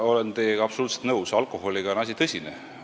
Ma olen teiega absoluutselt nõus: alkoholiga on asi tõsine.